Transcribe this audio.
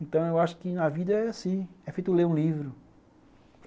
Então eu acho que na vida é assim, é feito ler um livro.